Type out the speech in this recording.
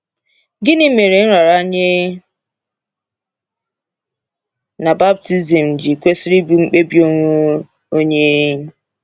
Gịnị mere nraranye na baptizim ji kwesịrị ịbụ mkpebi onwe onye?